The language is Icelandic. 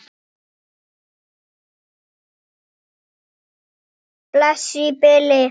Bless í bili!